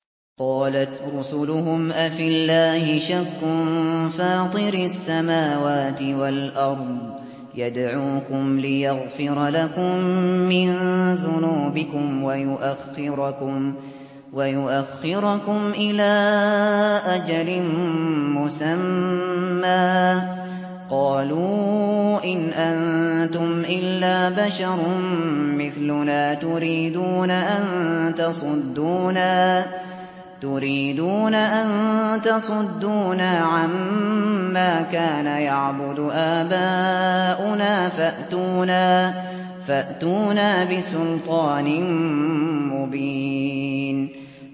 ۞ قَالَتْ رُسُلُهُمْ أَفِي اللَّهِ شَكٌّ فَاطِرِ السَّمَاوَاتِ وَالْأَرْضِ ۖ يَدْعُوكُمْ لِيَغْفِرَ لَكُم مِّن ذُنُوبِكُمْ وَيُؤَخِّرَكُمْ إِلَىٰ أَجَلٍ مُّسَمًّى ۚ قَالُوا إِنْ أَنتُمْ إِلَّا بَشَرٌ مِّثْلُنَا تُرِيدُونَ أَن تَصُدُّونَا عَمَّا كَانَ يَعْبُدُ آبَاؤُنَا فَأْتُونَا بِسُلْطَانٍ مُّبِينٍ